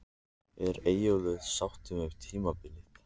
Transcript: Er Eyjólfur sáttur með tímabilið?